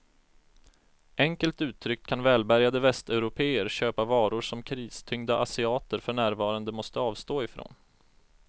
Enkelt uttryckt kan välbärgade västeuropéer köpa varor som kristyngda asiater för närvarande måste avstå ifrån.